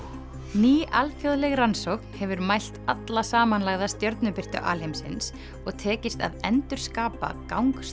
ný alþjóðleg rannsókn hefur mælt alla samanlagða stjörnubirtu alheimsins og tekist að endurskapa gang